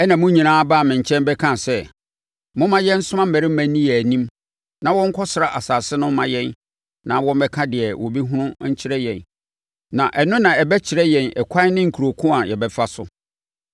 Ɛnna mo nyinaa baa me nkyɛn bɛkaa sɛ, “Momma yɛnsoma mmarima nni yɛn anim na wɔnkɔsra asase no mma yɛn na wɔmmɛka deɛ wɔbɛhunu nkyerɛ yɛn na ɛno na ɛbɛkyerɛ yɛn ɛkwan ne nkuro ko a yɛbɛfa so.”